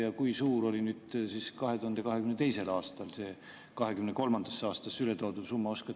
Ja kui suur oli 2022. aastal see 2023. aastasse üle toodud summa?